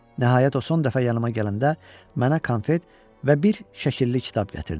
Nəhayət o son dəfə yanıa gələndə mənə konfet və bir şəkilli kitab gətirdi.